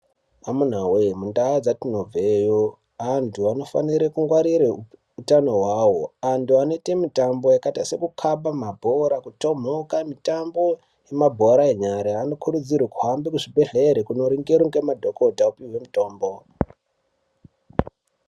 Amunaa wee mundaa dzatinobve antu anofanire kungwarire utano hwawo antu anoite mutambo akaite sekukabe mabhora kutomuka mitambo yemabhora enyara anokurudzirwe kuhambe kuzvibhedhleri kundoringe ringemadhokota apuwe mutombo.